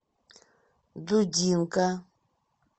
дудинка